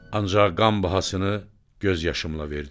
Ancaq qan bahasını göz yaşımla verdim.